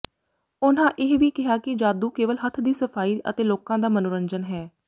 ਉਨ੍ਹਾਂ ਇਹ ਵੀ ਕਿਹਾ ਕਿ ਜਾਦੂ ਕੇਵਲ ਹੱਥ ਦੀ ਸਫਾਈ ਅਤੇ ਲੋਕਾਂ ਦਾ ਮਨੋਰੰਜਨ ਹੈ